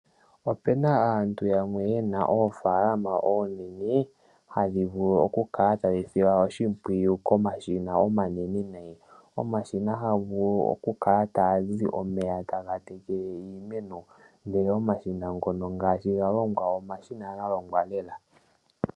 Opuna aantu yamwe yena oofaalama oonene , hadhi vulu okukala tadhi silwa oshimpwiyu komashina omanene nayi. Omashina ohaga vulu okukala taga zi omeya taga tekele iimeno, omashina ngono omashina galongwa lela.